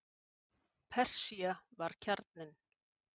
Persía var kjarninn.